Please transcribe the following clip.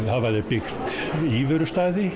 hafa þeir byggt